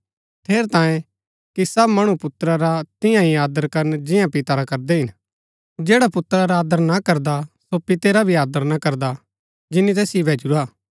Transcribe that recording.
ठेरैतांये कि सब मणु पुत्रा रा तियां ही आदर करन जियां पिता रा करदै हिन जैडा पुत्रा रा आदर ना करदा सो पितै रा भी आदर ना करदा जिनी तैसिओ भैजुरा